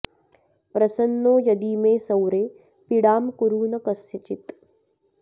प्रसन्नो यदि मे सौरे पीडां कुरु न कस्यचित्